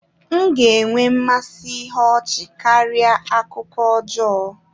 M ga-enwe mmasị ihe ọchị karịa akụkọ ọjọọ